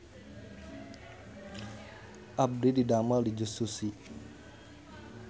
Abdi didamel di Just Sushi